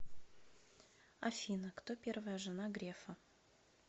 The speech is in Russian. афина кто первая жена грефа